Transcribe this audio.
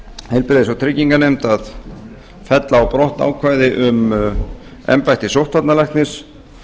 heilbrigðis og trygginganefnd að fella á brott ákvæði um embætti sóttvarnalæknis